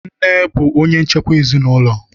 Nne bụ onye nchekwa ezinaụlọ.